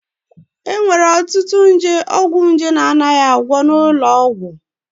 E nwere ọtụtụ nje ọgwụnje na-anaghị agwọ n'ụlọ ọgwụ